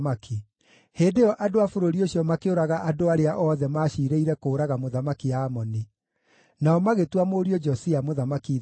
Hĩndĩ ĩyo andũ a bũrũri ũcio makĩũraga andũ arĩa othe maaciirĩire kũũraga Mũthamaki Amoni; nao magĩtua mũriũ Josia mũthamaki ithenya rĩake.